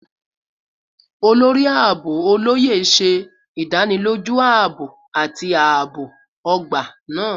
Olori Aabo Oloye ṣe idaniloju aabo ati aabo ogba naa